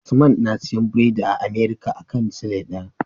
Usman na siyan biredi a American akan sile daya